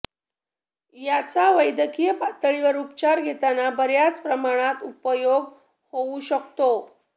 याचा वैद्यकीय पातळीवर उपचार घेताना बऱ्याच प्रमाणात उपयोग होऊ शकतो